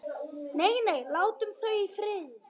Nei, nei, látum þau í friði.